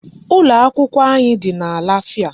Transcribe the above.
Ụlọ akwụkwọ anyị dị na Lafia.